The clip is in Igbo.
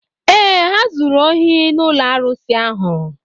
Ee, ha zuru ohi n’ụlọ arụsị ahụ.